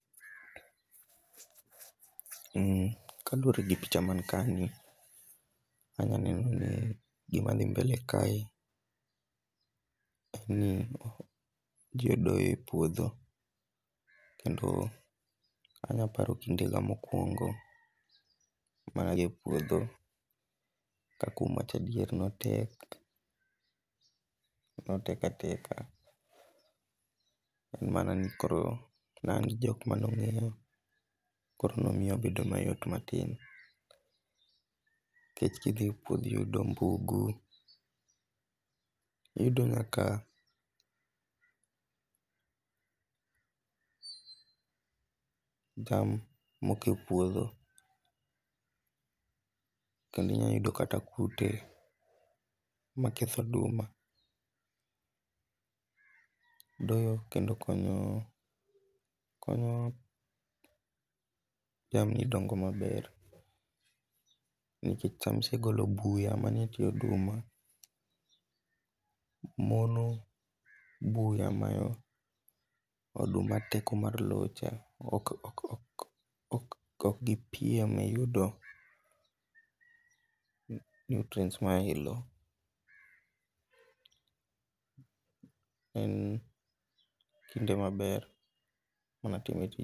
Kaluore gi picha man kae ni, anya neno ni gima dhi mbele kae ,en ni jodoyo e puodho kendo anya paro kindega mokuongo mane adhi e puodho ka kuom wacho adieri, notek, notek ateka, en mana ni koro ne an gi jok mane ongeya koro nomiyo obedo mayot matin. Nikech kidhi e pudho iyudo bungu, iyudo kaka jam moko e puodho kendo inya yudo kata kute maketho oduma. Doyo kendo konyo ,konyo jamni dongo maber nikech sama isegolo buya manie tie oduma, mono buya mayo oduma teko mar loo cha, ok, ok gipiem e yudo nutrients mae loo. En kinde maber mane atime tijni